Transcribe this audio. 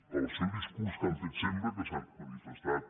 pel discurs que han fet sempre que s’han manifestat